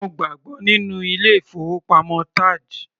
Má gbàgbọ́ nínú ilé ìfowópamọ́ TAJ.